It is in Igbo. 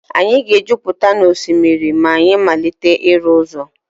anyị ga-ejupụta n'osimiri a ma anyị malite ịrụ ụzọ